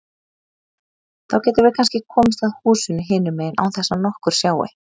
Þá getum við kannski komist að húsinu hinum megin án þess að nokkur sjái.